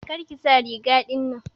Kar ki sa riga ɗinnan.